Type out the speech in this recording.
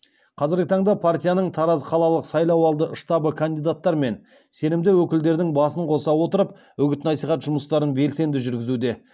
қазіргі таңда партияның тараз қалалық сайлауалды штабы кандидаттар мен сенімді өкілдердің басын қоса отырып үгіт насихат жұмыстарын белсенді жүргізуде